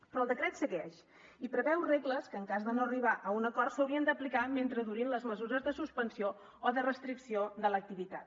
però el decret segueix i preveu regles que en cas de no arribar a un acord s’haurien d’aplicar mentre durin les mesures de suspensió o de restricció de l’activitat